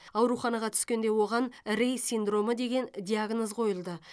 ауруханаға түскенде оған рей синдромы деген диагноз қойылды